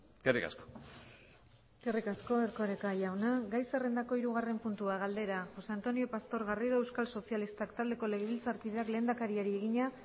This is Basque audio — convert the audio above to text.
eskerrik asko eskerrik asko erkoreka jauna gai zerrendako hirugarren puntua galdera josé antonio pastor garrido euskal sozialistak taldeko legebiltzarkideak lehendakariari egina